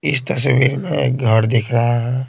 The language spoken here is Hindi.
इस तस्वीर में एक घर दिख रहा है।